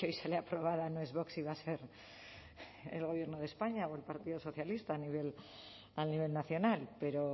que sale aprobada no es vox y va a ser el gobierno de españa o el partido socialista a nivel nacional pero